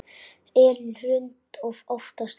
Elín Hrund var oftast úfin.